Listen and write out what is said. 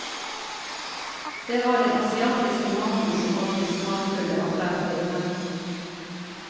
Det var den asiatiske maten som hadde de smakfulle alternativene.